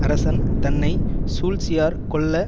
அரசன் தன்னை சூழ்ச்சியா கொல்ல